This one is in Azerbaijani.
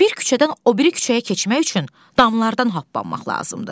Bir küçədən o biri küçəyə keçmək üçün damlardan hoppanmaq lazımdır.